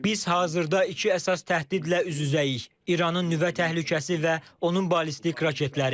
Biz hazırda iki əsas təhdidlə üz-üzəyik: İranın nüvə təhlükəsi və onun ballistik raketləri.